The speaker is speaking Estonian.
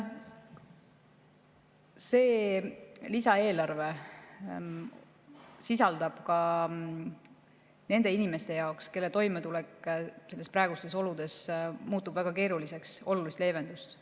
See lisaeelarve sisaldab ka nende inimeste jaoks, kelle toimetulek praegustes oludes muutub väga keeruliseks, olulist leevendust.